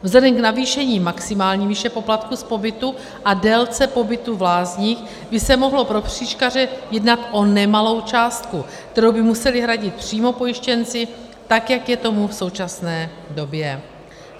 Vzhledem k navýšení maximální výše poplatku z pobytu a délce pobytu v lázních by se mohlo pro křížkaře jednat o nemalou částku, kterou by museli hradit přímo pojištěnci, tak jak je tomu v současné době.